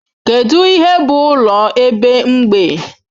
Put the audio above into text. Kedu ihe bụ ụlọ ebe mgbei?